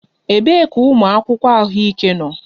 Ebee ka ụmụ akwụkwọ ahụike nọ?